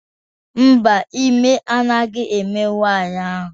Mba, ime anaghị eme nwanyi ahu